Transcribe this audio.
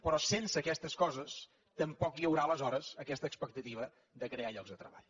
però sense aquestes coses tampoc hi haurà aleshores aquesta expectativa de crear llocs de treball